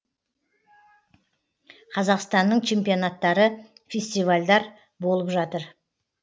қазақстанның чемпионттары фестивальдар болып жатыр